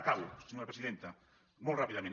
acabo senyora presidenta molt ràpidament